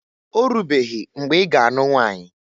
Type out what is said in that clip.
Orubeghi mgbe iga a nụ nwanyi?